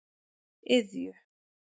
Iðju